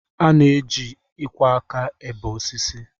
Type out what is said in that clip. A na-eji ịkwọ aka ebe osisi